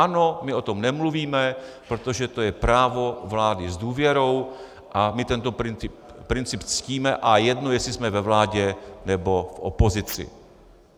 Ano, my o tom nemluvíme, protože je to právo vlády s důvěrou, a my tento princip ctíme a jedno, jestli jsme ve vládě, nebo v opozici.